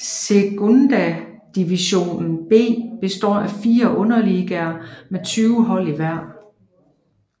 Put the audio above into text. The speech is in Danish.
Segunda Divisón B består af 4 underligaer med 20 hold i hver